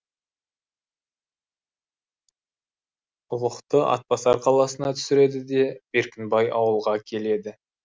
ұлықты атбасар қаласына түсіреді де беркінбай ауылға келеді